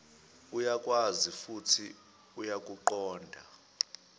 uyakwazi futhi uyakuqonda